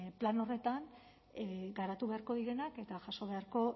plano horretan garatu beharko direnak eta jaso beharko